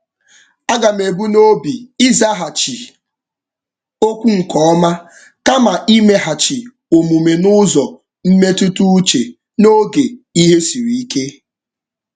Aga m ebu n'obi ịzaghachi okwu nke ọma kama imeghachi omume n'ụzọ mmetụtauche n'oge ihe siri ike.